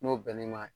N'o bɛnn'i ma